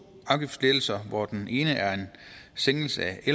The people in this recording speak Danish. afgiftslettelser hvoraf den ene er en sænkelse af